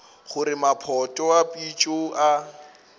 gore maphoto a phišo a